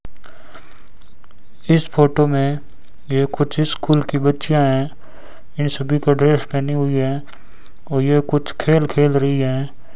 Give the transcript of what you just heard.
इस फोटो में ये कुछ स्कूल की बच्चियां है यें सभी का ड्रेस पहनी हुई है और ये कुछ खेल खेल रही हैं।